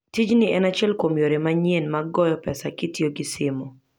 Tijni en achiel kuom yore manyien mag goyo pesa kitiyo gi simo.